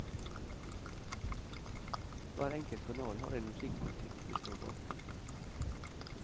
Hver enkelt kanal har en musikkpolitikk vi står bak.